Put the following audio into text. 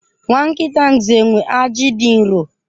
Nwa nkịta nxenwe aji dị nro.